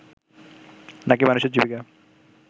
না কি মানুষের জীবিকা